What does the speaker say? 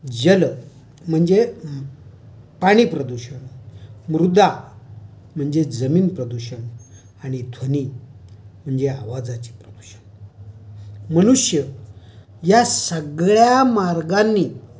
जल म्हणजे पाणी प्रदूषण, मृदा म्हणजे जमीन प्रदूषण, आणि ध्वनि म्हणजे आवाजाचे प्रदूषण. मनुष्य या सगळ्या मार्गांनी...